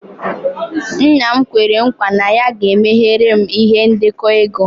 Nna'm kwere nkwa na ya ga-emeghere m ihe ndekọ ego.